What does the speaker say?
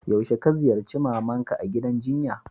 Yaushe ka ziyace mama'n ka a'gidan jinya?